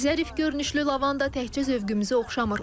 Zərif görünüşlü lavanda tək zövqümüzü oxşamır.